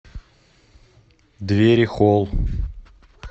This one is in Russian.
дверихолл